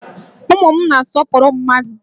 Ụmụ m na-asọpụrụ mmadụ